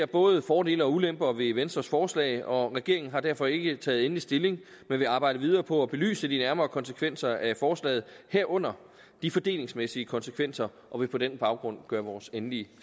både fordele og ulemper ved venstres forslag og regeringen har derfor ikke taget endelig stilling men vi arbejder videre på at belyse de nærmere konsekvenser af forslaget herunder de fordelingsmæssige konsekvenser og vil på den baggrund gøre vores endelige